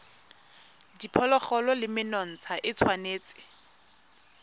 diphologolo le menontsha e tshwanetse